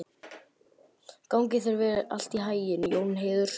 Gangi þér allt í haginn, Jónheiður.